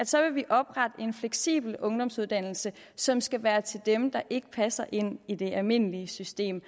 så vil oprette en fleksibel ungdomsuddannelse som skal være til dem der ikke passer ind i det almindelige system